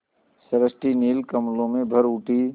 सृष्टि नील कमलों में भर उठी